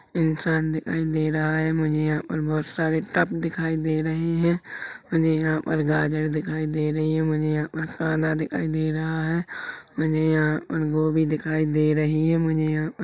इंसान दिखाई दे रहा है मुझे यहाँ पर बहुत सारे टब दिखाई दे रहे है मुझे यहाँ पर गाजर दिखाई दे रही है मुझे यहाँ पर कांदा दिखाई दे रहा है मुझे यहाँ पर गोभी दिखाई दे रही है मुझे यहाँ पर--